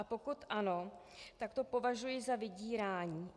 A pokud ano, tak to považuji za vydírání.